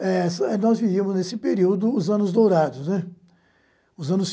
Eh nós vivíamos nesse período os Anos Dourados, né, os anos